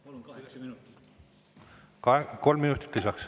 Kolm minutit lisaks.